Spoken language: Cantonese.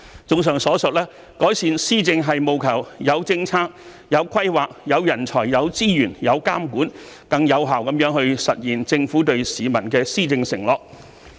綜上所述，改善施政是務求有政策、有規劃、有人才、有資源、有監管，更有效地實現政府對市民的施政承諾。